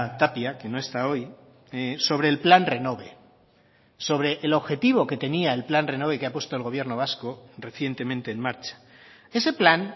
tapia que no está hoy sobre el plan renove sobre el objetivo que tenía el plan renove que ha puesto el gobierno vasco recientemente en marcha ese plan